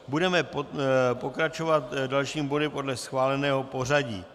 Budeme pokračovat dalším bodem podle schváleného pořadí.